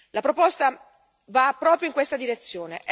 La proposta va proprio in questa direzione.